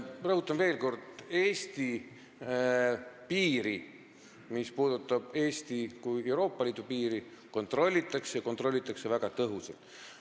Rõhutan veel kord, et Eesti piiri – nii Eesti kui Euroopa Liidu piiri – kontrollitakse, ja kontrollitakse väga tõhusalt.